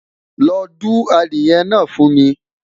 lọ du adìye na fu mi